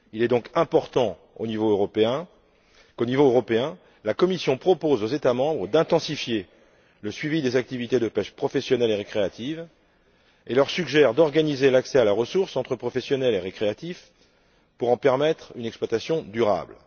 Il est donc important qu'au niveau européen, la Commission propose aux États membres d'intensifier le suivi des activités de pêche professionnelle et récréative et leur suggère d'organiser l'accès à la ressource entre pêcheurs professionnels et pêcheurs récréatifs pour en permettre une exploitation durable.